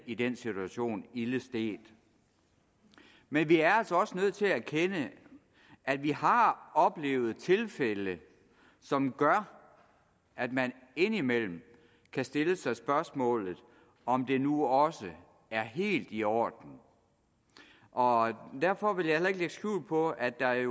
i den situation ilde stedt men vi er altså også nødt til at erkende at vi har oplevet tilfælde som gør at man indimellem kan stille sig spørgsmålet om det nu også er helt i orden og derfor vil jeg heller ikke lægge skjul på at der i